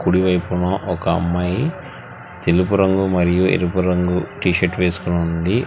కుడి వైపున ఒక అమ్మాయి తెలుపు రంగు మరియు ఎరుపు రంగు టీ షర్ట్ వేసుకొని ఉంది.